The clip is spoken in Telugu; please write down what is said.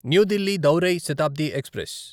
న్యూ దిల్లీ దౌరై శతాబ్ది ఎక్స్ప్రెస్